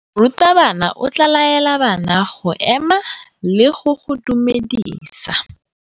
Morutabana o tla laela bana go ema le go go dumedisa.